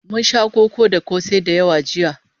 Mun sha koko da kosai da yawa jiya